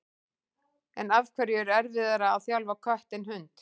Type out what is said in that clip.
En af hverju er erfiðara að þjálfa kött en hund?